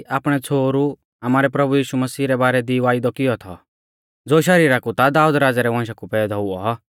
आपणै छ़ोहरु आमारै प्रभु यीशु मसीह रै बारै दी वायदौ किऔ थौ ज़ो शरीरा कु ता दाऊद राज़ै रै वशां कु पैदौ हुऔ